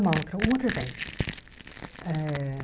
Um outro exemplo eh.